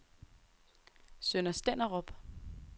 Sønder Stenderup